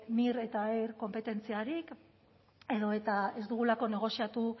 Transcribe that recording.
mir eta er konpetentziarik edota ez dugulako negoziatu